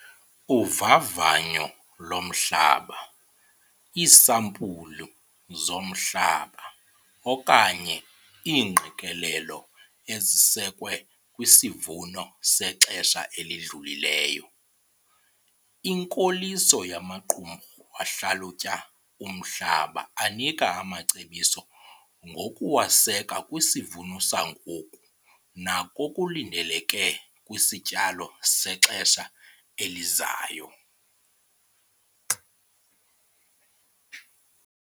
Uvavanyo lomhlaba - iisampulu zomhlaba okanye iingqikelelo ezisekwe kwisivuno sexesha elidlulileyo. Inkoliso yamaqumrhu ahlalutya umhlaba anika amacebiso, ngokuwaseka kwisivuno sangoku nakokulindeleke kwisityalo sexesha elizayo.